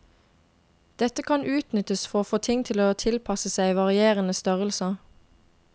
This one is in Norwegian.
Dette kan utnyttes for å få ting til å tilpasse seg varierende størrelser.